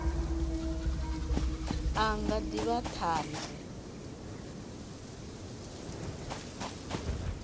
a nga ḓi vha ṱhanzi